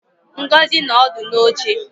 Ngozi no odu n'uche